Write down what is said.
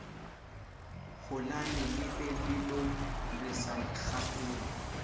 holane lebelo re sa ikgapele